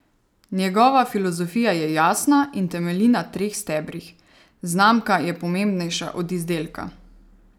Njegova filozofija je jasna in temelji na treh stebrih: "Znamka je pomembnejša od izdelka.